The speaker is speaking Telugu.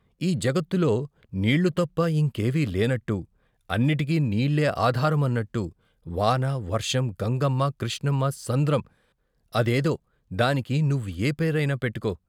ఈ జగత్తులో నీళ్ళు తప్ప ఇంకేవీ లేనట్టు, అన్నిటికీ నీళ్ళే ఆధారమన్నట్టు వాన, వర్షం, గంగమ్మ, క్రిష్ణమ్మ, సంద్రం, అదేదో దానికి నువ్వు ఏపేరైనా పెట్టుకో.